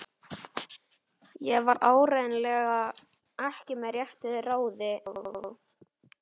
Ég var áreiðanlega ekki með réttu ráði þá.